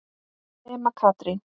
Nema Katrín.